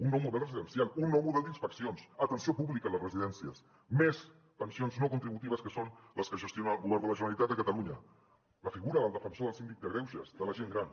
un nou model residencial un nou model d’inspeccions atenció pública a les residències més pensions no contributives que són les que gestiona el govern de la generalitat de catalunya la figura del defensor del síndic de greuges de la gent gran